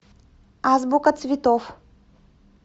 азбука цветов